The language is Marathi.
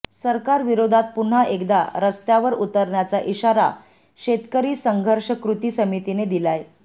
सरकारविरोधात पुन्हा एकदा रस्त्यावर उतरण्याचा इशारा शेतकरी संघर्ष कृती समितीने दिलाय